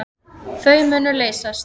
Þau munu leysast.